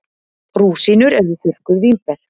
Rúsínur eru þurrkuð vínber.